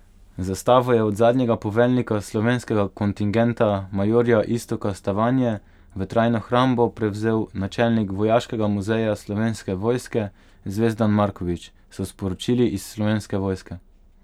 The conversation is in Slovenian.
Zastavo je od zadnjega poveljnika slovenskega kontingenta, majorja Iztoka Stavanje, v trajno hrambo prevzel načelnik vojaškega muzeja Slovenske vojske Zvezdan Marković, so sporočili iz Slovenske vojske.